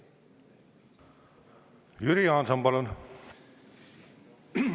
Jüri Jaanson, palun!